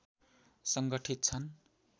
सङ्गठित छन्